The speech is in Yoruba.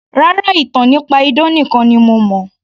Rárá, ìtàn nípa idán nìkan ni mo